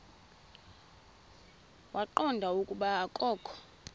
waqonda ukuba akokho